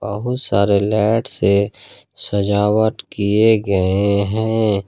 बहुत सारे लाइट से सजावट किए गए हैं।